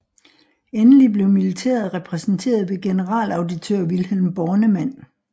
Endelig blev militæret repræsenteret ved generalauditør Vilhelm Bornemann